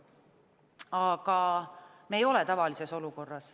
Aga me ei ole tavalises olukorras.